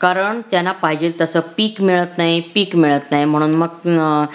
कारण त्यांना पाहिजे तस पीक मिळत नाही पीक मिळत नाही म्हणून मग हम्म